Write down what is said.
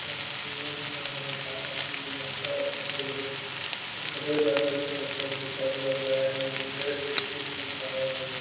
खड़गपुरे में पड़े हो तारापुर यार खड़गपुर में ओकरे लगे फोटो घिचल गेले इ मुंगेर डिस्ट्रिक्ट में पड़े हो जो --